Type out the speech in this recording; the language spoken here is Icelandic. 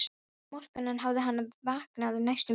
Og um morguninn hafði hann vaknað næstum blindur.